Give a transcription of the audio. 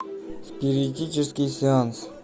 спиритический сеанс